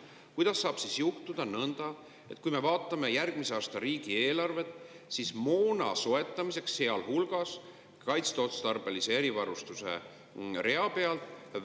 Aga kuidas saab juhtuda nõnda, et kui me vaatame järgmise aasta riigieelarvet, siis